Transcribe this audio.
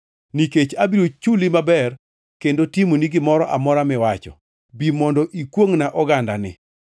nikech abiro chuli maber kendo timoni gimoro amora miwacho. Bi mondo ikwongʼna ogandani.”